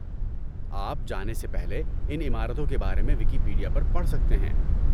آپ جانے سے پہلے ان عمارتوں کے بارے میں ویکیپیڈیا پر پڑھ سکتے ہیں۔